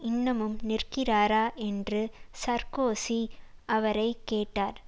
இன்னமும் நிற்கிறாரா என்று சார்க்கோசி அவரை கேட்டார்